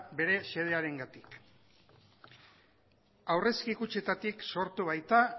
bere xedearengatik aurrezki kutxetatik sortu baita